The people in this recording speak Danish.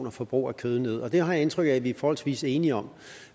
og forbruget af kød nederst det har jeg indtryk af at vi er forholdsvis enige om